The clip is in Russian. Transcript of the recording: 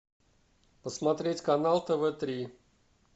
посмотреть канал тв три